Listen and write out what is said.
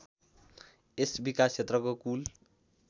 यस विकासक्षेत्रको कुल